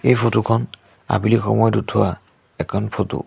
এই ফটো খন আবেলি সময়ত উঠোৱা এখন ফটো ।